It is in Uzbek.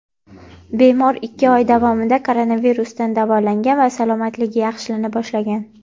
bemor ikki oy davomida koronavirusdan davolangan va salomatligi yaxshilana boshlagan.